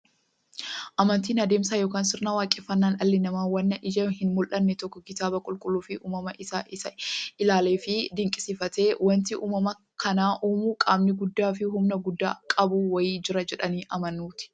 Amantiin adeemsa yookiin sirna waaqeffannaa dhalli namaa waan ijaan hinmullanne tokko kitaaba qulqulluufi uumama isaa isaa ilaaleefi dinqisiifatee, wanti uumama kana uumu qaamni guddaafi humna guddaa qabu wa'ii jira jedhanii amanuuti.